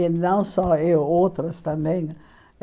E não só eu, outras também né.